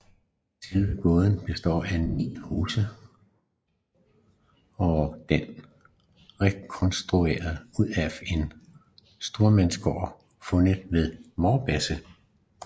Selve gården består af hele 9 huse og den er rekonstrueret ud fra en stormandsgård fundet ved Vorbasse